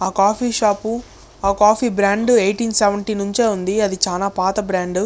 ఆ coffee shop ఆ coffee brand eighteen seventy నుండే ఉంది అది చానా పథ బ్రాండ్ --